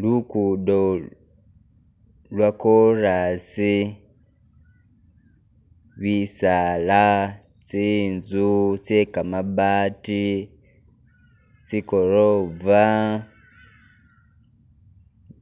Lugudo lwakoras, bisaala , tsinzu tse kamabaati tsi gorofa